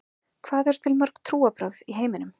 Hvað eru til mörg trúarbrögð í heiminum?